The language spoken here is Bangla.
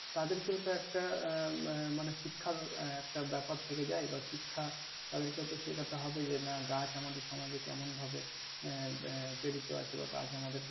তাদেরকেও তো একটা আহ উম মানি শিক্ষার আহ একটা ব্যাপার থেকে যায় ধর শিক্ষা তাদেরকেও তো শেখাতে হবে যে নাহ গাছ আমাদের সমাজে কেমন ভাবে এহ বাহ প্রেরিত আছে বা গাছ আমাদের কে